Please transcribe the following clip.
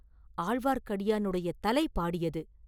ஆழ்வார்க்கடியானுடைய தலை பாடியது!